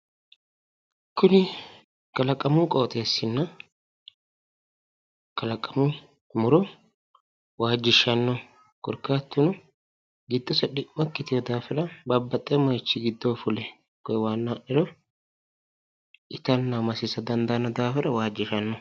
Kuni kalaqamu qooxeessinna kalaqamu muro waajjishshanno korkaatuno giddose dhi'mo ikkitino daafira babbaxxewo moyichi giddoyi fule koye waanna ha'niro itanna masisa dandaanno daafira waajjishanno.